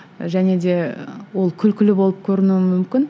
және де ол күлкілі болып көрінуі мүмкін